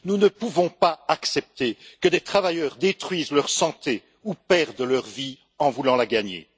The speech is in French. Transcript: Nous ne pouvons pas accepter que des travailleurs détruisent leur santé ou perdent leur vie en voulant la gagner.